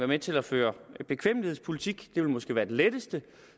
med til at føre bekvemmelighedspolitik det ville måske være det letteste